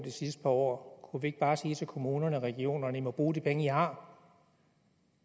sidste par år kunne vi ikke bare sige til kommunerne og regionerne i må bruge de penge i har